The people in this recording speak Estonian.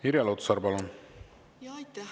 Irja Lutsar, palun!